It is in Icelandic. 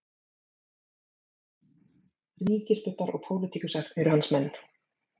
Ríkisbubbar og pólitíkusar eru hans menn